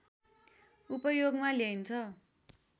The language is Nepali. उपयोगमा ल्याइन्छ